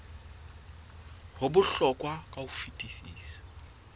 ho bohlokwa ka ho fetisisa